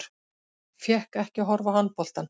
Fékk ekki að horfa á handboltann